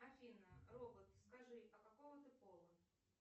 афина робот скажи а какого ты пола